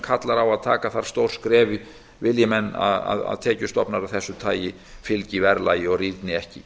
kallar á að taka þarf stór skref vilji menn að tekjustofnar af þessu tagi fylgi verðlagi og rýrni ekki